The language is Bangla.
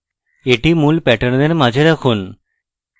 এটি মূল প্যাটার্নের মাঝে রাখুন